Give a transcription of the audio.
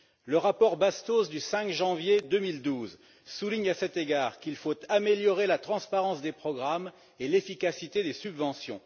Le rapport Bastos du 5 janvier 2012 souligne, à cet égard, qu'il faut améliorer la transparence des programmes et l'efficacité des subventions.